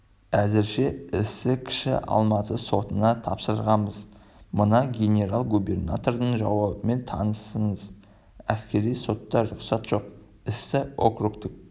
әзірше істі кіші алматы сотына тапсырғанбыз мына генерал-губернатордың жауабымен танысыңыз әскери сотқа рұқсат жоқ істі округтік